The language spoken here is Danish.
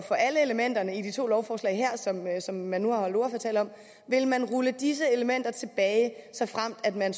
for alle elementerne i de to lovforslag her som man nu holdt ordførertaler om vil man rulle disse elementer tilbage såfremt man